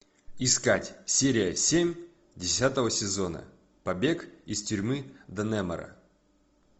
искать серия семь десятого сезона побег из тюрьмы даннемора